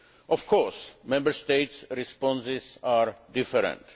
Of course, Member States' responses are different.